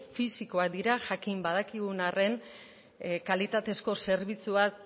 fisikoak dira jakin badakigun arren kalitatezko zerbitzuak